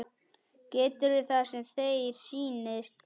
Gerðu það sem þér sýnist.